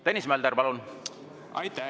Tõnis Mölder, palun!